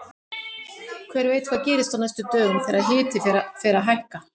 Hver veit hvað gerist á næstu dögum þegar hiti fer að hækka!